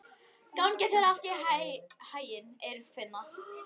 Gangi þér allt í haginn, Eirfinna.